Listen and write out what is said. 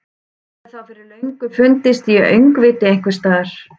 Hún hefði þá fyrir löngu fundist í öngviti einhvers staðar.